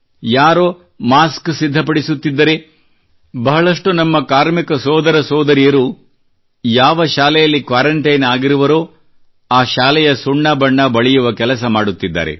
ಯಾರೋ ಮಾಸ್ಕ್ ಸಿದ್ಧಪಡಿಸುತ್ತಿದ್ದರೆ ಬಹಳಷ್ಟು ನಮ್ಮ ಕಾರ್ಮಿಕ ಸೋದರ ಸೋದರಿಯರು ಯಾವ ಶಾಲೆಯಲ್ಲಿ ಕ್ವಾರೆಂಟೈನ್ ಆಗಿರುವರೋ ಆ ಶಾಲೆಯ ಸುಣ್ಣ ಬಣ್ಣದ ಕೆಲಸ ಮಾಡುತ್ತಿದ್ದಾರೆ